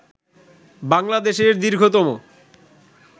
বাংলাদেশের র্দীঘতম